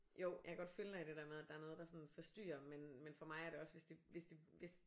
Jo jeg kan godt følge dig i det der med at der sådan er noget der sådan forstyrrer men men for mig er det også hvis det hvis det hvis